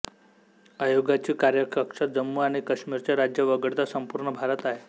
आयोगाची कार्यकक्षा जम्मू आणि काश्मीरचे राज्य वगळता संपूर्ण भारत आहे